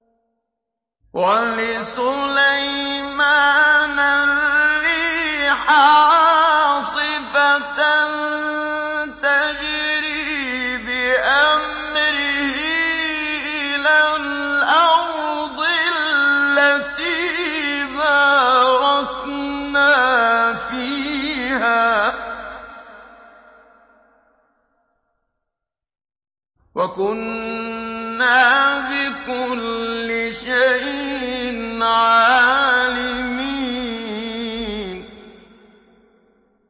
وَلِسُلَيْمَانَ الرِّيحَ عَاصِفَةً تَجْرِي بِأَمْرِهِ إِلَى الْأَرْضِ الَّتِي بَارَكْنَا فِيهَا ۚ وَكُنَّا بِكُلِّ شَيْءٍ عَالِمِينَ